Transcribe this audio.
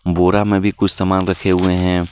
बोरा में भी कुछ सामान रखे हुए हैं।